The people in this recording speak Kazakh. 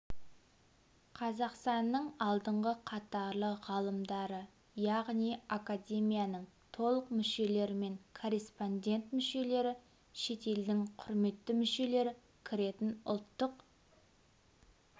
қазақстанның алдыңғы қатарлы ғалымдары яғни академияның толық мүшелері мен корреспондент-мүшелері шетелдің құрметті мүшелері кіретін ұлттық